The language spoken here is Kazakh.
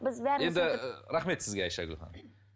енді рахмет сізге айшагүл ханым